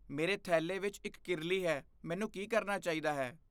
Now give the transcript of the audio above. ਮੇਰੇ ਥੈਲੇ ਵਿੱਚ ਇੱਕ ਕਿਰਲੀ ਹੈ। ਮੈਨੂੰ ਕੀ ਕਰਨਾ ਚਾਹੀਦਾ ਹੈ?